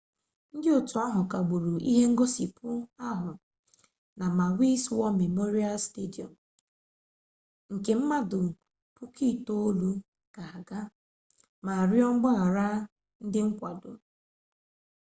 ndị otu ahụ kagburu ihe ngosipụ ahụ na maui's war memorial stadium nke mmadụ 9,000 ga-aga ma rịọ mgbaghara ndị nkwado